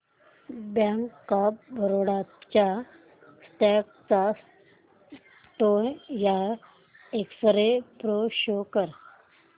bank of Baroda च्या stock चा ten year x ray pro show कर